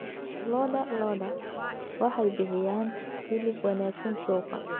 Lo'da lo'da waxay bixiyaan hilib wanaagsan suuqa.